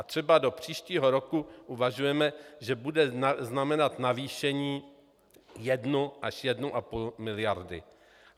A třeba do příštího roku uvažujeme, že bude znamenat navýšení jedna až jedna a půl miliardy.